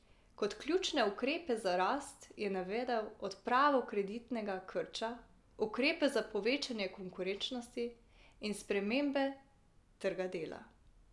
Kot ključne ukrepe za rast je navedel odpravo kreditnega krča, ukrepe za povečanje konkurenčnosti in spremembe trga dela.